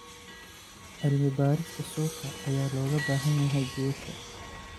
Cilmi-baarista suuqa ayaa looga baahan yahay guusha.